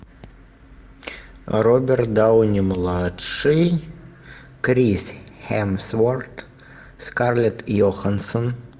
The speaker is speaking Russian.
роберт дауни младший крис хемсворт скарлетт йохансон